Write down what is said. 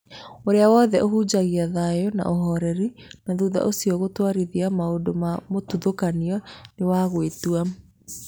ũrĩa wothe ũhunjagia thayũna ũhoreri na thutha ũcio gũtwarithia maũndũma mũthutũkanio nĩ wa gwĩtua.